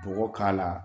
Bɔgɔ k'a la